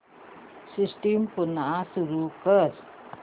system पुन्हा सुरू कर